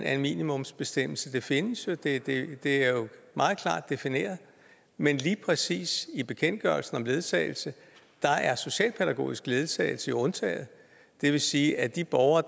af en minimumsbestemmelse det findes jo det det er meget klart defineret men lige præcis i bekendtgørelsen om ledsagelse er socialpædagogisk ledsagelse jo undtaget det vil sige at de borgere